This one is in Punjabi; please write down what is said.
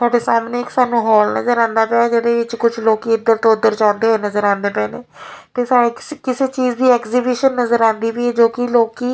ਸਾਡੇ ਸਾਹਮਣੇ ਇੱਕ ਸਾਨੂੰ ਹਾਲ ਨਜ਼ਰ ਆਂਦਾ ਪਿਆ ਇਹਦੇ ਵਿੱਚ ਕੁਝ ਲੋਕੀ ਇਧਰ ਤੋਂ ਉਧਰ ਜਾਂਦੇ ਹੋਏ ਨਜ਼ਰ ਆਉਂਦੇ ਪਏ ਤੇ ਕਿਸੇ ਚੀਜ਼ ਦੀ ਐਗਜੀਬੀਸ਼ਨ ਨਜ਼ਰ ਆਂਦੀ ਪਈ ਆ ਜੋ ਕਿ ਲੋਕੀ --